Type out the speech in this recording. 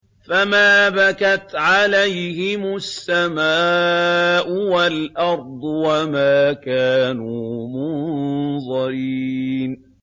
فَمَا بَكَتْ عَلَيْهِمُ السَّمَاءُ وَالْأَرْضُ وَمَا كَانُوا مُنظَرِينَ